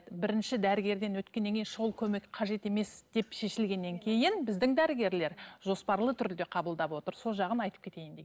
бірінші дәрігерден өткеннен кейін шұғыл көмек қажет емес деп шешілгеннен кейін біздің дәрігерлер жоспарлы түрде қабылдап отыр сол жағын айтып кетейін дегенмін